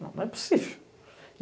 Não é possível.